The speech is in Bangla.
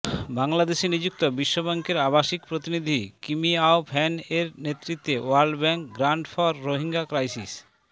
বাংলাদেশে নিযুক্ত বিশ্বব্যাংকের আবাসিক প্রতিনিধি কিমিআও ফ্যান এর নেতৃত্বে world bank grant for Rohingya crisis